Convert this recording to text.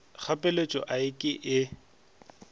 kgapeletšo ga e ke e